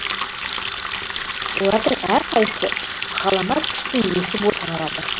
олардың әрқайсы ғаламат күштің иесі болып саналады